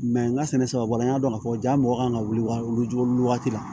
n ka sɛnɛ sababula n y'a dɔn k'a fɔ ja mɔgɔ kan ka wuli waati la